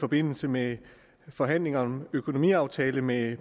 forbindelse med forhandlingerne om økonomiaftalen mellem